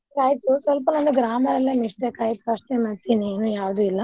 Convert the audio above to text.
ಆಯ್ತು ಸ್ವಲ್ಪ ನನ್ನು grammar ಅಲ್ಲೆ mistake ಆಯ್ತ್ first time ಅಂತಿನಿ ಇನ್ನು ಯಾವ್ದು ಇಲ್ಲಾ.